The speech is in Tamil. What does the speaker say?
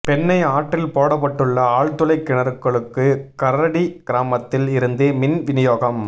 பெண்ணை ஆற்றில் போடப்பட்டுள்ள ஆழ்துளை கிணறுகளுக்கு கரடி கிராமத்தில் இருந்து மின் வினியோகம்